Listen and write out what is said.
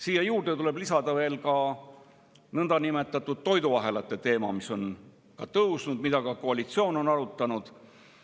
Siia juurde tuleb lisada nõndanimetatud toiduahelate teema, mis on ja mida ka koalitsioon on arutanud.